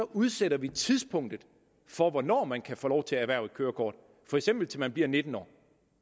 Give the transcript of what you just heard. udsætter vi tidspunktet for hvornår man kan få lov til at erhverve et kørekort for eksempel til man bliver nitten år